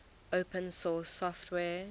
open source software